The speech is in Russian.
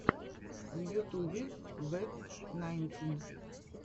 в ютубе вэт найнтин